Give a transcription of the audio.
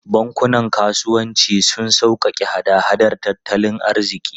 Bankunan kasuwanci suna sauƙaƙe hada-hadar tattalin arziki.